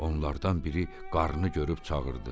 Onlardan biri qarıını görüb çağırdı.